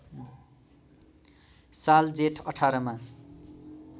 साल जेठ १८ मा